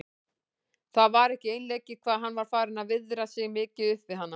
Það var ekki einleikið hvað hann var farinn að viðra sig mikið upp við hana.